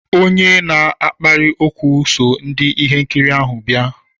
Onye na-akpali ókwú so ndị ihe nkiri ahụ bịa.